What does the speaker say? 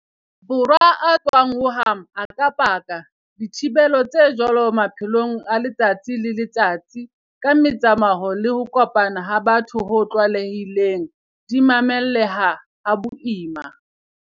Borwa a tswang Wuhan a ka paka, dithibelo tse jwalo maphelong a letsatsi le letsatsi, ka metsamao le ho kopana ha batho ho tlwaelehileng, di mamelleha ha boima.